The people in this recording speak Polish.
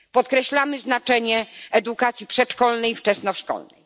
Podkreślamy znaczenie edukacji przedszkolnej i wczesnoszkolnej.